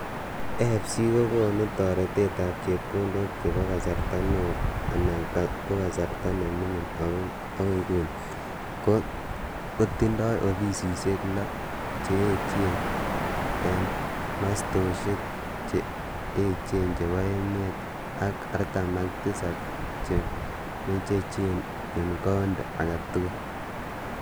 AfC ko konu taretet ap chepkondok che po kasarta neo anan ko kasarta ne mining ako nguni, ko tindoi ofisishek lo(6) che echen ing mastoshek che echen chepo emet ak 47 che mechechen ing county agei tugul.